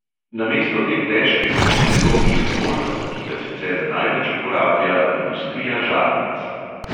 Namesto te težke kovine bo v njih volfram, ki ga sicer največ uporablja industrija žarnic.